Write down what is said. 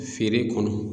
Feere kɔnɔ